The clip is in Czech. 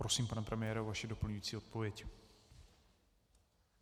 Prosím, pane premiére, vaši doplňující odpověď.